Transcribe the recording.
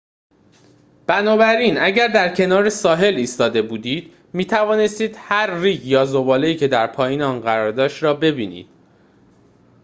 بنابراین اگر در کنار ساحل ایستاده بودید می‌توانستید هر ریگ یا ذباله‌ای که در پایین آن قرار داشت را ببینید